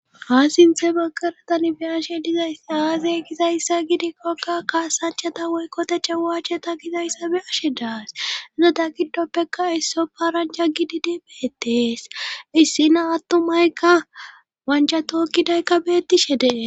Ha sinte bagaratan be ashe dizaysa aasey gizayssa gidikkokka kaasanchata woykkoteche waache ta gizayssa be ashe daas izoda giddoppeka isso paranja gididi beettees issina attumaykka wancha tookkidaykka beettishe dee.